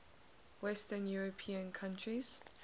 western european countries